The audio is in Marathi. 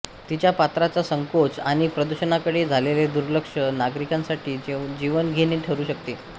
तिच्या पात्राचा संकोच आणि प्रदूषणाकडे झालेले दुर्लक्ष नागरिकांसाठी जीवघेणे ठरू शकते